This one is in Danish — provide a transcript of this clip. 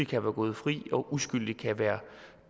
kan være gået fri og uskyldige kan være